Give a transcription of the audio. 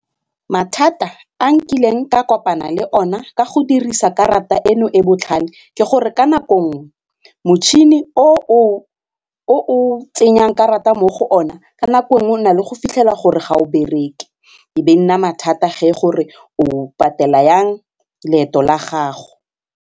Mathata a nkileng ka kopana le ona ka go dirisa karata eno e botlhale ke gore ka nako nngwe motšhini o o tsenyang karata mo go ona ka nako nngwe o na le go fitlhela gore ga o bereke e be nna mathata ge gore o patela yang loeto la gago.